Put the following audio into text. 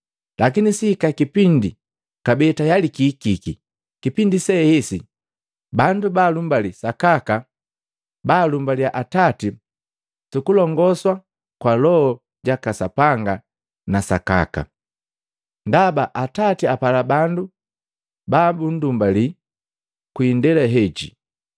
Lakini sihika kipindi, kabee tayali kihiki, kipindi se hesi bandu balumbali sakaka balumbaliya Atati sukulongoswa kwa Loho jaka Sapanga na sakaka. Ndaba Atati apala bandu babundumbali kwii ndela heji.